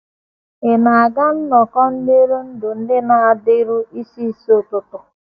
Ị̀ na - aga nnọkọ ntụrụndụ ndị na - adịru isi isi ụtụtụ?